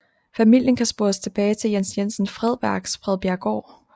Familien kan spores tilbage til Jens Jensen Fredberg til Fredbjerggaard